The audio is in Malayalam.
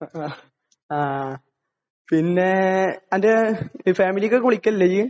ആഹ്. പിന്നേ നിന്റെ ഫാമിലിയെയൊക്കെ വിളിക്കാറില്ലേ നീ?